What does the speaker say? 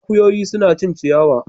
Akuyoyi suna cin ciyawa.